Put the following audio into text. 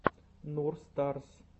нур старс